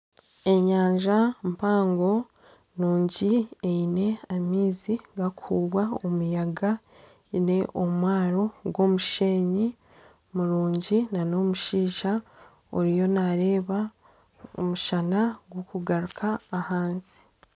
Enyanja mpango nungi eine amaizi gakuhuubwa omuyaga, eine omwaaro gw'omusheenyi murungi nana omushaija oriyo nareeba omushana gukugaruka ahansi.